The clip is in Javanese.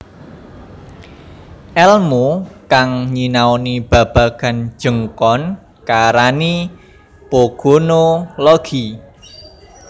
Elmu kang nyinaoni babagan jenggkon kaarani pogonologi